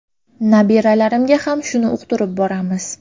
Nabiralarimga ham shuni uqtirib boramiz.